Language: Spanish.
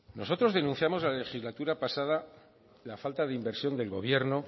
nosotros denunciamos en la legislatura pasada la falta de inversión del gobierno